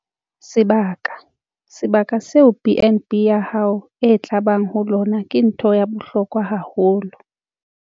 Sebaka - Sebaka seo B and B ya hao e tla bang ho lona ke ntho ya bohlokwa haholo.